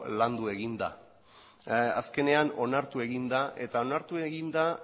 landu egin da azkenean onartu egin da eta onartu egin da